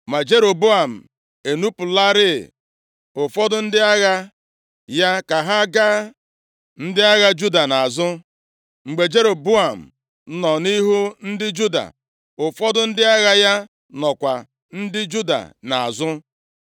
Ma Jeroboam ezipụlarị ụfọdụ ndị agha ya ka ha ga ndị agha Juda nʼazụ. Mgbe Jeroboam nọ nʼihu ndị Juda, ụfọdụ ndị agha ya nọkwa ndị Juda nʼazụ.